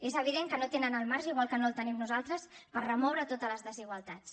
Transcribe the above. és evident que no tenen el marge igual que no el tenim nosaltres per remoure totes les desigualtats